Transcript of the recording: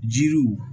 Jiriw